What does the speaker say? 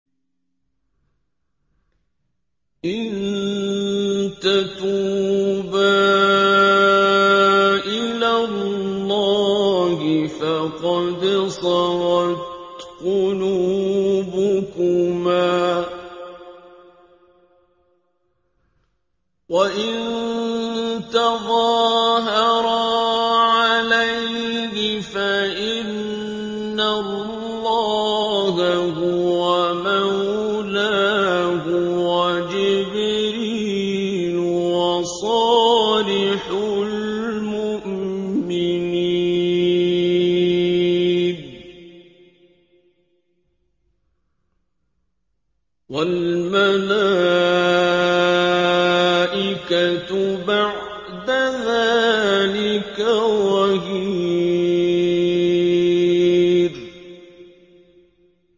إِن تَتُوبَا إِلَى اللَّهِ فَقَدْ صَغَتْ قُلُوبُكُمَا ۖ وَإِن تَظَاهَرَا عَلَيْهِ فَإِنَّ اللَّهَ هُوَ مَوْلَاهُ وَجِبْرِيلُ وَصَالِحُ الْمُؤْمِنِينَ ۖ وَالْمَلَائِكَةُ بَعْدَ ذَٰلِكَ ظَهِيرٌ